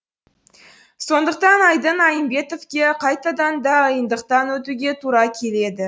сондықтан айдын айымбетовке қайтадан да йындықтан өтуге тура келеді